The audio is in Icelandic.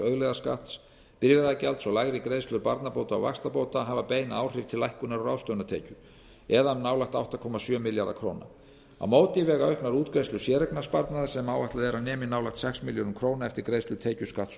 auðlegðarskatts bifreiðagjalds og lægri greiðslur barnabóta og vaxtabóta hafa bein áhrif til lækkunar á ráðstöfunartekjur um nálægt átta komma sjö milljarða króna á móti vega auknar útgreiðslur séreignarsparnaðar sem áætlað er að nemi nálægt sex milljörðum króna eftir greiðslu tekjuskatts og